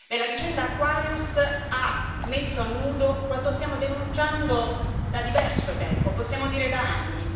La vicenda Aquarius ha messo a nudo quanto stiamo denunciando da diverso tempo, possiamo dire da anni.